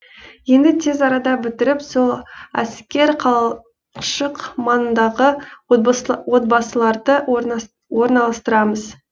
енді тез арада бітіріп сол әскер қалашық маңындағы отбасыларды орналастырамыз